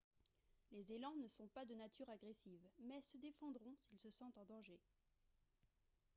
les élans ne sont pas de nature agressive mais se défendront s'ils se sentent en danger